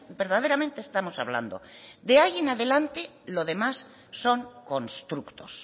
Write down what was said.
verdaderamente estamos hablando de ahí en adelante lo demás son constructos